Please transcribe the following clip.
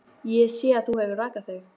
Ég sé að þú hefur rakað þig.